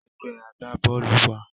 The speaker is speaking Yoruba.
Ẹgbẹ́ agbá-bọ́ọ́lù wà